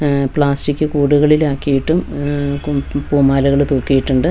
ഉം പ്ലാസ്റ്റിക്ക് കൂടുകളിലാക്കിയിട്ടും ഉം കും-പൂമാലകള് തൂക്കീട്ടുണ്ട്.